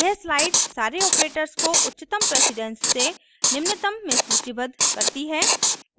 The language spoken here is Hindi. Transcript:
यह स्लाइड सारे ऑपरेटर्स को उच्चतम प्रेसिडेन्स से निम्नतम में सूचीबद्ध करती है